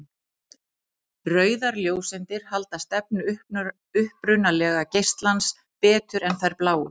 Rauðar ljóseindir halda stefnu upprunalega geislans betur en þær bláu.